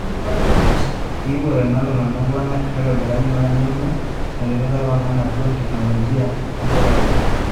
iipot ena ilaguanak lang' meitobira nyuat nauno metipika o ewangan atua teknolojia enchetare.